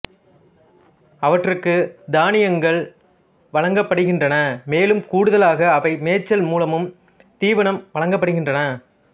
அவற்றுக்கு தானியங்கள் வழங்கப்படுகின்றன மேலும் கூடுதலாக அவை மேய்ச்சல் மூலமும் தீவனம் வழங்கப்படுகின்றன